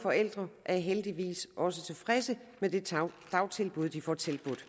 forældre er heldigvis også tilfredse med det dagtilbud de får tilbudt